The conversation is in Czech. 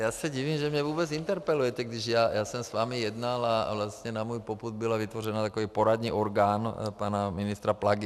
Já se divím, že mě vůbec interpelujete, když já jsem s vámi jednal a vlastně na můj popud byl vytvořen takový poradní orgán pana ministra Plagy.